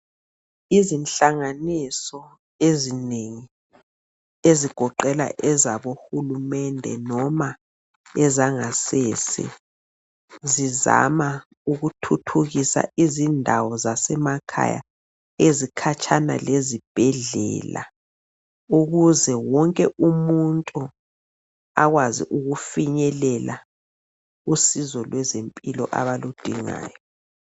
izinhlanganiso ezinengi ezigoqela ezabo hulumende noma ezangasese zizama ukuthuthukisa izindawo zasemakhaya ezikhatshana lezibhedlela ukuze wonke umuntu akwazi ukufinyelela usizo lwezempilo abaludingayo